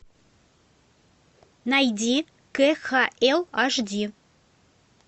найди кхл ашди